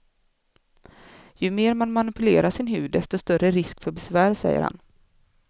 Ju mer man manipulerar sin hud desto större risk för besvär, säger han.